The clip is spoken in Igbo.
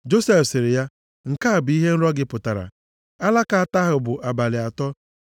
Josef sịrị ya, “Nke a bụ ihe nrọ gị pụtara. Alaka atọ ahụ bụ abalị atọ.